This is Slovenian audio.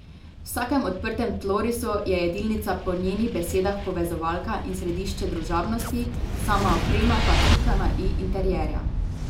V vsakem odprtem tlorisu je jedilnica po njenih besedah povezovalka in središče družabnosti, sama oprema pa pika na i interierja.